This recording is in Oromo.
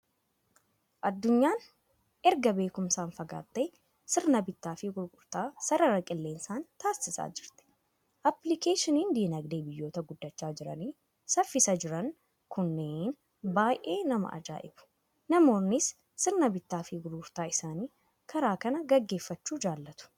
Addunyaan erga beekumsaan fagaattee sirna bittaa fi gurgurtaa sarara qilleensaan taasisaa jirti. Aappilikeeshiniin dinagdee biyyoota guddachaa jiranii saffisaa jiran kunneen baay'ee nama ajaa'ibu! Namoonnis sirna bittaa fi gurgurtaa isaanii karaa kanaa gaggeeffachuu jaalatu.